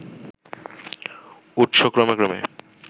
উৎস ক্রমে ক্রমে